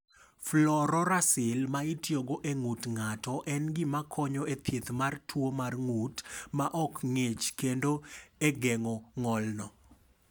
"Fluorouracil ma itiyogo e ng’ut ng’ato en gima konyo e thieth mar tuo mar ng’ut ma ok ng’ich kendo e geng’o ng’olno."